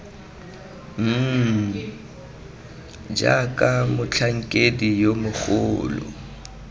mmm jaaka motlhankedi yo mogolo